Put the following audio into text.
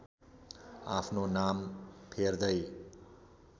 आफ्नो नाम फेर्दै